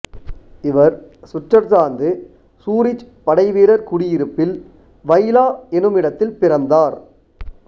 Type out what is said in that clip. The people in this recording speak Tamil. இவர் சுவிட்சர்லாந்து சூரிச் படைவீரர் குடியிருப்பில் வைலா எனுமிட்த்தில் பிறந்தார்